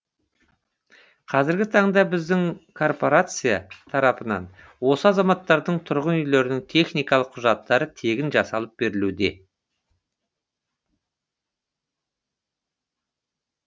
қазіргі таңда біздің коорпорация тарапынан осы азаматтардың тұрғын үйлерінің техникалық құжаттары тегін жасалып берілуде